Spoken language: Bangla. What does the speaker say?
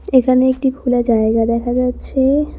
এখানে একটি খোলা জায়গা দেখা যাচ্ছে।